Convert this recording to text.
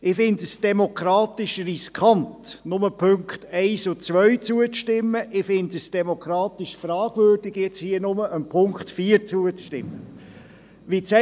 Ich finde es demokratisch riskant, nur den Punkten 1 und 2 zuzustimmen, und ich finde es demokratisch fragwürdig, jetzt nur dem Punkt 4 zuzustimmen.